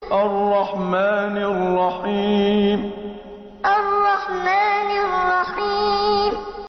الرَّحْمَٰنِ الرَّحِيمِ الرَّحْمَٰنِ الرَّحِيمِ